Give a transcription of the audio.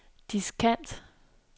diskant